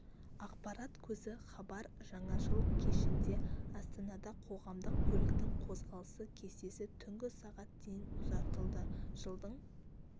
ақпарат көзі хабар жаңа жыл кешінде астанада қоғамдық көліктің қозғалыс кестесі түнгі сағат дейін ұзартылды жылдың